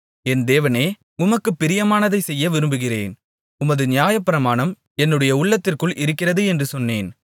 என் தேவனே உமக்குப் பிரியமானதைச் செய்ய விரும்புகிறேன் உமது நியாயப்பிரமாணம் என்னுடைய உள்ளத்திற்குள் இருக்கிறது என்று சொன்னேன்